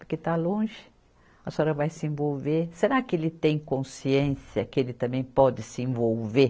Porque está longe, a senhora vai se envolver, será que ele tem consciência que ele também pode se envolver?